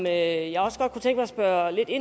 at være